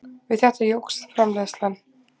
Við þetta jókst framleiðslan.